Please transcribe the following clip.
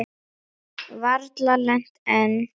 Varla lent enn.